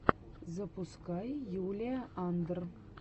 запускай юлия андр